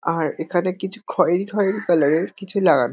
আর এখানে কিছু খয়েরি খয়েরি কালার -এর কিছু লাগান--